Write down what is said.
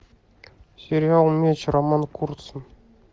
сериал меч роман курцын